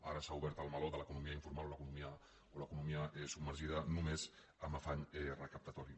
ara s’ha obert el meló de l’economia informal o l’economia submergida només amb afany recaptatori